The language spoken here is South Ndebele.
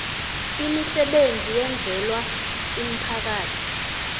imisebenzi eyenzelwa umphakathi